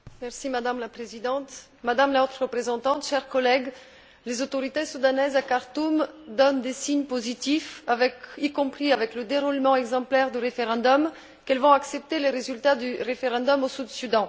Madame la Présidente, Madame la Haute représentante, chers collègues, les autorités soudanaises à Khartoum donnent des signes positifs, y compris avec le déroulement exemplaire du référendum, indiquant qu'elles vont accepter les résultats du référendum au Sud Soudan.